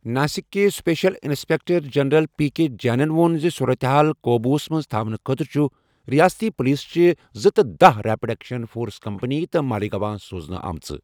ناسِکٕکہِ special inspector general, P K جینن ووٚن زِ صوٗرتحال قوبوٗوس منٛز تھاونہٕ خٲطرٕ چھِ رِیٲستی پُلیٖسچہِ زٕتہٕ دَہ ریٚپِڈ ایٚکشَن فورس کمپٔنی تہِ مالٖیگاون سوزنہ آمژٕ ۔